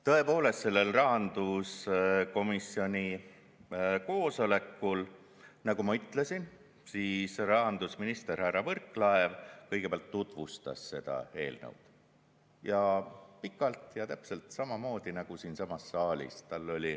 Tõepoolest, sellel rahanduskomisjoni koosolekul, nagu ma ütlesin, rahandusminister härra Võrklaev kõigepealt tutvustas seda eelnõu ja pikalt ja täpselt samamoodi nagu siinsamas saalis.